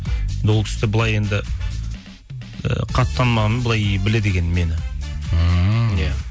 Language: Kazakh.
ол кісі де былай енді ы қатты танымағанмен ы былай біледі екен мені ммм иә